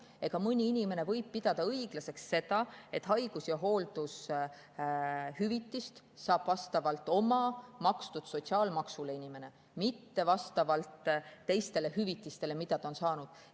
Siin võib samamoodi keegi pidada õiglaseks seda, et inimene saab haigus‑ ja hooldushüvitist vastavalt oma makstud sotsiaalmaksule, mitte vastavalt teistele hüvitistele, mida ta on saanud.